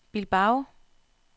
Bilbao